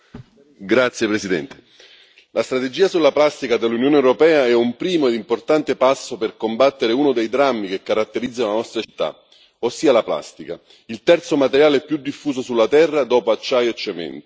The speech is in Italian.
Signora Presidente, onorevoli colleghi, la strategia sulla plastica dell'Unione europea è un primo e importante passo per combattere uno dei drammi che caratterizzano la nostra civiltà, ossia la plastica, il terzo materiale più diffuso sulla Terra dopo acciaio e cemento.